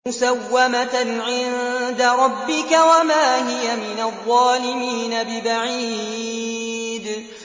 مُّسَوَّمَةً عِندَ رَبِّكَ ۖ وَمَا هِيَ مِنَ الظَّالِمِينَ بِبَعِيدٍ